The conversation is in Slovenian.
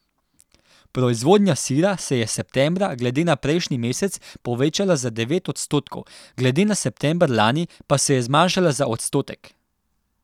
Proizvodnja sira se je septembra glede na prejšnji mesec povečala za devet odstotkov, glede na september lani pa se je zmanjšala za odstotek.